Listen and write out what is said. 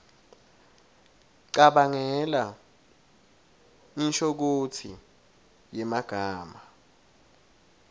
cabangela inshokutsi yemagama